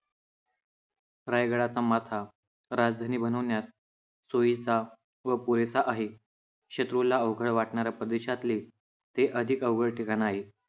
रायगडाचा माथा राजधानी बनवण्यात सोयीचा व पुरेसा आहे. शत्रूला अवघड वाटणाऱ्या प्रदेशातले हे अधिक अवघड ठिकाण आहे.